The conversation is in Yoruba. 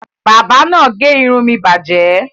Bábà náà gé irun mi bàjẹ́?